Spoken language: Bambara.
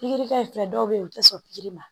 Pikiri kɛ dɔw bɛ yen u tɛ sɔn pikiri ma